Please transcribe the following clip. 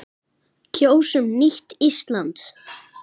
Kjósum nýtt Ísland.